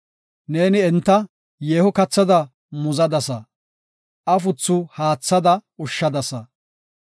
Neeni enta yeeho kathada muzadasa; afuthu haathada ushshadasa.